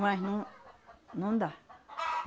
Mas não não dá.